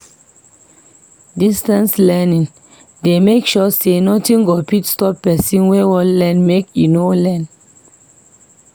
Distance learning dey make sure say nothing go fit stop pesin wey wan learn make e no learn.